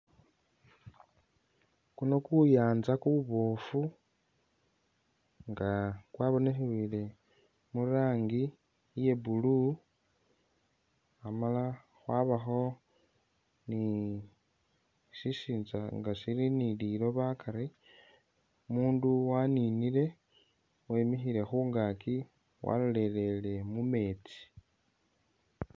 Kuno kuyanja kubofu inga kwabonekhele murangi iye blue khamala khwabakho ni shisitsa nga shili ni liloba akari umundu waninile wekikhile khungakyi walolelele mumeetsi.